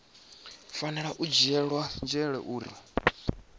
fanela u dzhielwa nzhele uri